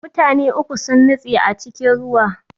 Mutane uku sun nutse a cikin ruwa